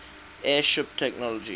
airship technology